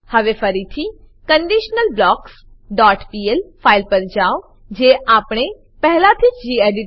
હવે ફરીથી conditionalblocksપીએલ ફાઈલ પર જાઓ જે આપણે પેહલાથીજ ગેડિટ